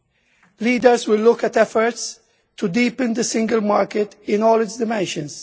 The leaders will look at efforts to deepen the single market in all its dimensions.